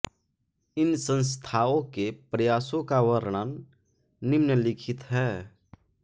इन संस्थाओं के प्रयासों का वर्णन निम्नलिखित है